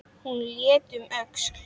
Hún leit um öxl.